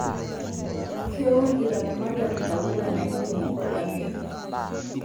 Keun ilaramatak ntapuka naidimu olameyu